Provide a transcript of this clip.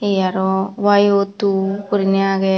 he arow yo two guriney aagey.